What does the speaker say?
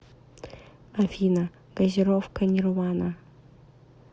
афина газировка нирвана